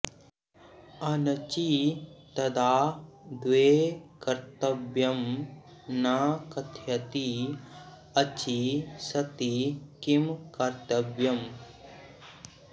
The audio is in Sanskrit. अनचि तदा द्वे कर्तव्यं न कथयति अचि सति किं कर्त्तव्यम्